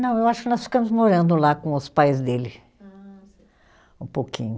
Não, eu acho que nós ficamos morando lá com os pais dele. Ah, sei. Um pouquinho.